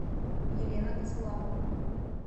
елена косолапова